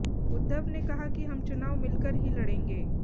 उद्धव ने कहा कि हम चुनाव मिलकर ही लड़ेंगे